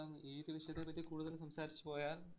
ഇപ്പം ഈയൊരു വിഷയത്തെ പറ്റി കൂടുതല്‍ സംസാരിച്ചു പോയാല്‍